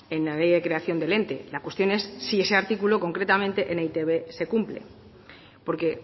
en la ley de creación del ente la cuestión es si ese artículo concretamente en e i te be se cumple porque